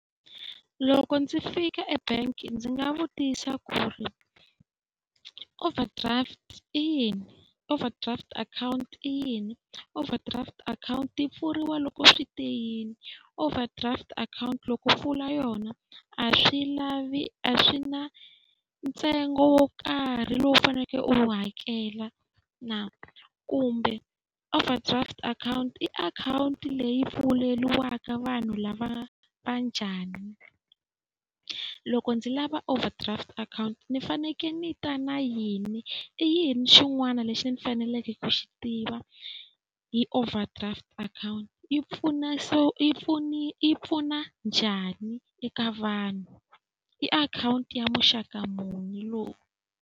Loko ndzi fika e-bank-i ndzi nga vutisa ku ri overdraft i yini, overdraft akhawunti i yini? Overdraft akhawunti yi pfuriwa loko swi te yini? Overdraft akhawunti loko pfula yona a swi lavi a swi na ntsengo wo karhi lowuu faneleke u wu hakela na kumbe overdraft akhawunti i akhawunti leyi pfuleriwaka vanhu lava va njhani? Loko ndzi lava overdraft akhawunti ni fanekele ni yi ta na yini? I yini xin'wana lexi ndzi faneleke ku xi tiva hi overdraft akhawunti? Yi pfuna yi yi pfuna njhani eka vanhu? I akhawunti ya muxaka muni lowu.